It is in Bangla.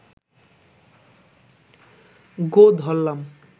গোঁ ধরলাম